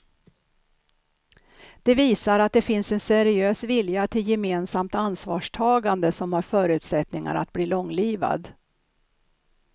Det visar att det finns en seriös vilja till gemensamt ansvarstagande som har förutsättningar att bli långlivad.